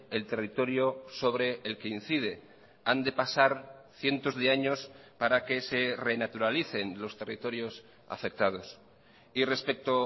el territorio sobre el que incide han de pasar cientos de años para que se renaturalicen los territorios afectados y respecto